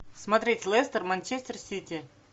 смотреть лестер манчестер сити